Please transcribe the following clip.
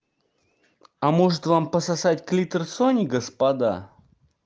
а может вам пососать клитор сони господа